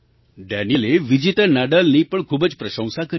Daniil એ વિજેતા નાડાલની પણ ખૂબ જ પ્રશંસા કરી